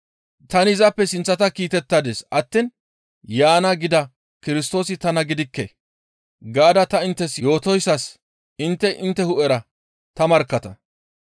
«Tani izappe sinththata kiitettadis attiin yaana gida Kirstoosi tana gidikke» gaada ta inttes yootoyssas intte intte hu7era ta markkatta.